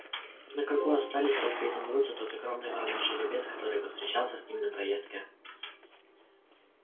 на кругу остались только изумруд и тот огромный вороной жеребец который повстречался с ним на проездке